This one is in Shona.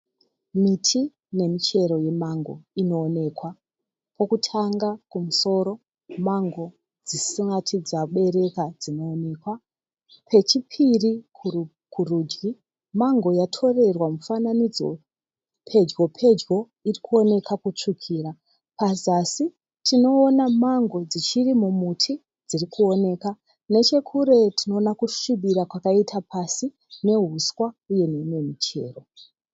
Miti nemichero yemango inoonekwa. Pokutanga kumusoro mango dzisati dzabereka dzinooneka. Pechipiri kurudyi mango yatorerwa mufananidzo pedyo pedyo iri kuoneka kutsvukira. Pazasi tinoona mango dzichiri mumuti dziri kuoneka. Nechekure tinoona kusvibira kwakaita pasi neuswa uye nemimwe michero.